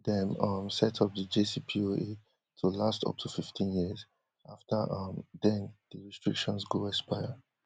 dem um set up di jcpoa to last up to fifteen years afta um den di restrictions go expire